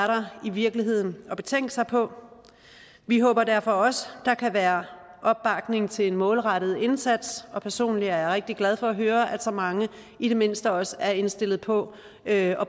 der i virkeligheden at betænke sig på vi håber derfor også der kan være opbakning til en målrettet indsats og personligt er jeg rigtig glad for at høre at så mange i det mindste også er indstillet på at